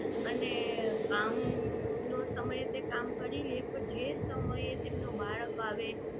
અને કામ નો સમય તે કામ કરી લે પણ જે સમયે તેમનું બાળક આવે